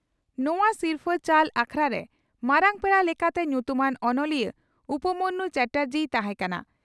ᱱᱚᱣᱟ ᱥᱤᱨᱯᱷᱟᱹ ᱪᱟᱞ ᱟᱠᱷᱲᱟᱨᱮ ᱢᱟᱨᱟᱝ ᱯᱮᱲᱟ ᱞᱮᱠᱟᱛᱮ ᱧᱩᱛᱩᱢᱟᱱ ᱚᱱᱚᱞᱤᱭᱟᱹ ᱩᱯᱢᱚᱱᱭᱩ ᱪᱟᱴᱟᱨᱡᱤᱭ ᱛᱟᱦᱮᱸ ᱠᱟᱱᱟ ᱾